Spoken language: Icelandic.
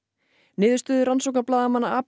niðurstöður rannsóknarblaðamanna